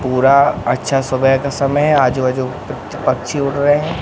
पूरा अच्छा सुबह का समय है आजूबाजू प च पंछी उड़ रहे है।